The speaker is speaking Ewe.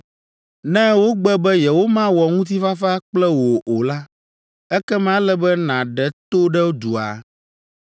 Ne wogbe be yewomawɔ ŋutifafa kple wò o la, ekema ele be nàɖe to ɖe dua.